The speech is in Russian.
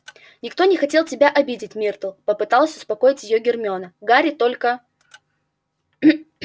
никто не хотел тебя обидеть миртл попыталась успокоить её гермиона гарри только